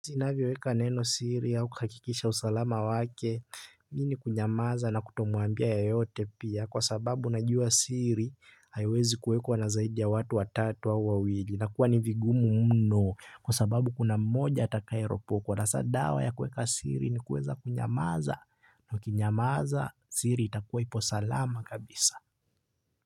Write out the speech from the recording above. Zinavyoweka neno siri au kuhakikisha usalama wake, mimi ni kunyamaza na kutomuambia yeyote pia kwa sababu najua siri haiwezi kuwekua na zaidi ya watu wa tatu au wawili inakuwa ni vigumu mno kwa sababu kuna mmoja atakaye ropokwa. Hasa dawa ya kuweka siri ni kueza kunyamaza na ukinyamaza siri itakuwa ipo salama kabisa.